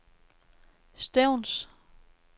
Stevns